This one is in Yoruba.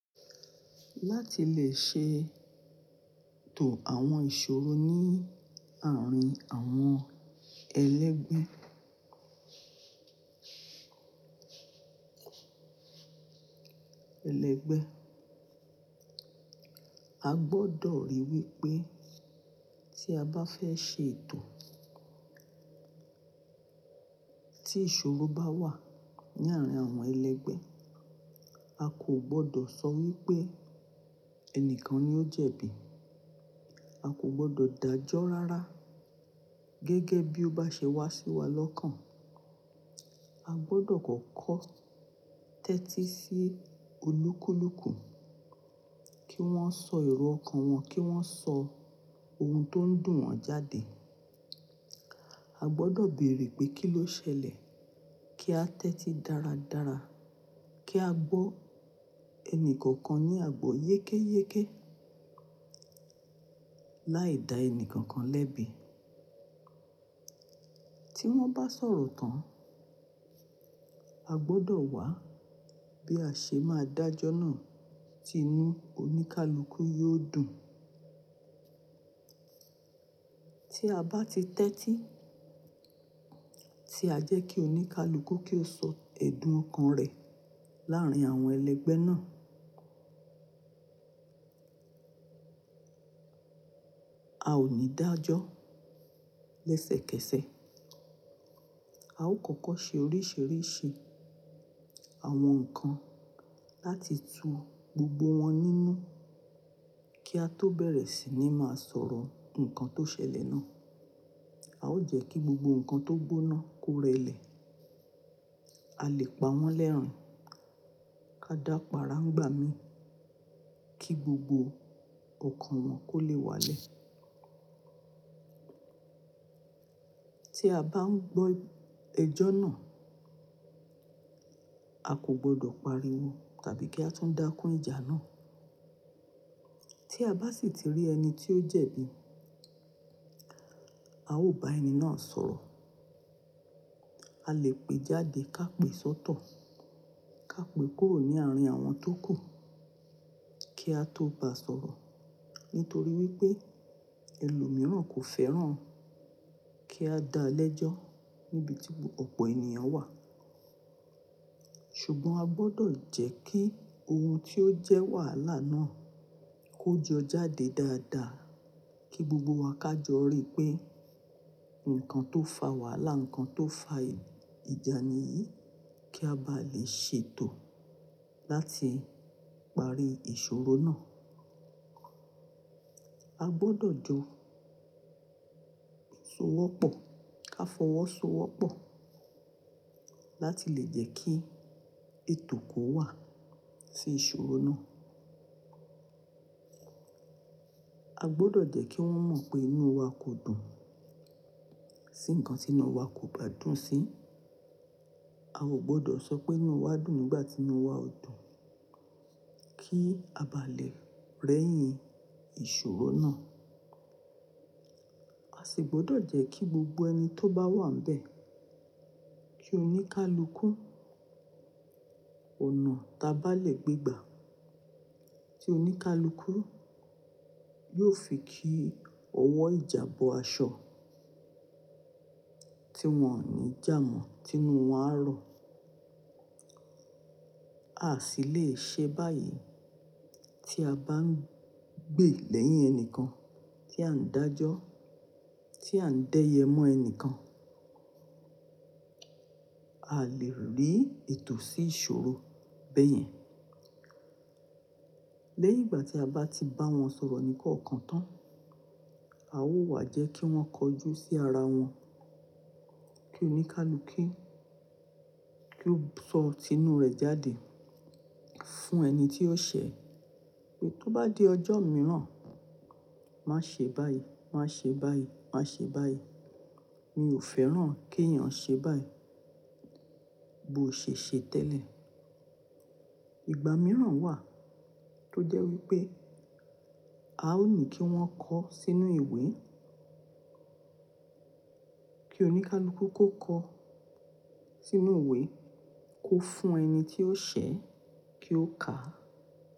Láti lè ṣe ètò àwọn ìṣòro ní àárín àwọn ẹlẹgbẹ́, a gbọdọ̀ ríi wí pé tí a bá fẹ́ ṣe ètò tí ìṣòro bá wà ní àárín àwọn ẹlẹgbẹ́, a kò gbọdọ̀ sọ wí pé ẹnìkan ni ó jẹ̀bi, a kò gbọdọ̀ dájọ́ rárá gẹ́gẹ́ bí ó bá ṣe wá sí wa lọ́kàn. A gbọdọ̀ kọ̀kọ́ tẹ́tí sí olúkúlùkù kí wọ́n sọ èrò ọkàn wọn, kí wọ́n sọ ohun tó ń dùn wọ́n jáde. A gbọdọ̀ bèèrè pé kí ló ṣẹlẹ̀ kí a tẹ́tí dáradára kí a gbọ́ ẹnìkọ̀ọ̀kan ní àgbo yékéyéké láì dá ẹni kankan lẹ́bi. Tí wọ́n bá sọ̀rọ̀ tán, a gbọdọ̀ wá bí a ṣe máa dájọ́ náà tí inú oníkálukú yóò dùn. Tí a bá ti tẹ́tí tí a jẹ́ kí oníkálukú kí ó sọ ẹ̀dùn ọkàn rẹ̀ láàárín àwọn ẹlẹgbẹ́ náà, a ò ní dájọ́ lẹ́sẹ̀kẹsẹ̀. A ó kọ́kọ́ ṣe oríṣìíríṣìí àwọn nǹkan láti tu gbogbo wọn nínú kí a tó bẹ̀rẹ̀ sí ní máa sọ̀rọ̀ nnkan tó ṣẹlẹ̀ náà. A ó jẹ́ kí gbogbo ǹkan tó gbóná kó rẹlẹ̀. A lè pa wọ́n lẹ́rìn, ká dàpara ńigbá mi kí gbogbo ọkàn wọn kó lè wálẹ̀. Tí a bá ń gbọ́ ẹjọ́ náà, a kò gbọdọ̀ pariwo tàbí kí a tún dákún ìjà náà. Tí a bá sì ti rí ẹni tí ó jẹ̀bi, a ò bá ẹni náà sọ̀rọ̀. A lè pé jáde ká pè sọ́tọ̀, ká pè kúrò ní àárín àwọn tó kù kí a tó bá sọ̀rọ̀ nítorí wí pé ẹlòmíràn kò fẹ́ràn kí a dá lẹ́jọ́ níbi tí ọ̀pọ̀ ènìyàn wà. Ṣùgbọ́n a gbọdọ̀ jẹ́ kí ohun tí ó jẹ́ wàhálà náà ó jọ jáde dáadáa kí gbogbo wa ká jọ rí pé nnkan tó fa wàhálà, nnkan tó fa ìjà ni yìí kí a bá lè ṣètò láti parí ìṣòro náà. A gbọdọ̀ jọ sowọ́pọ̀, ká fọwọ́ so wọ́pọ̀ láti lè jẹ́ kí ètò kó wà sí ìṣòro náà. A gbọdọ̀ jẹ́ kí wọ́n mọ̀ pé inú wa kò dùn sí nnkan tí inu wa kò bá dùn sí. A ò gbọdọ̀ sọ pé inú wa dùn nígbà tí inú wa ò dùn kí a bá lè rẹ́yìn ìṣòro náà. A sì gbọdọ̀ jẹ́ kí gbogbo ẹni tó bá wà ńbẹ́, kí oníkálukú, ọ̀nà ta bá lè gbé gbà, kí oníkálukú yóò fi kí ọwọ́ ìjà bọ aṣọ tí wọ́n ò ní jámọ̀, tí inú wọn á rọ. Aa sì lè ṣe báyìí tí a bá ń gbe lẹ́yìn ẹnìkan tí à ń dájọ́, tí à ń dẹ́yẹ mọ́ ẹnikan. Aa lè rí ètò sí ìṣòro bẹ́yẹn. Lẹ́yìn ìgbà tí a bá ti bá wọn sọ̀rọ̀ ní kọ̀ọ̀kan tán, a ó wà jẹ́ kí wọ́n kọjú sí ara wọn, kí oníkálukú kí ó sọ tinú rẹ̀ jáde fún ẹni tí ó ṣẹ̀ pé tó bá di ọjọ́ mìíràn, má ṣe báyìí, má ṣe báyìí, má ṣe báyìí. Mi ò fẹ́ràn kí ẹ̀eyàn ṣe báyìí. Bo ṣè ṣe tẹ́lẹ̀. Ìgbà mìíràn wà tó jẹ́ wí pé a ò ní kí wọ́n kọ sínú ìwé. Kí oníkálukú kó kọ sínú ìwé kó fún ẹni tí ó ṣẹ̀ kí ó kà.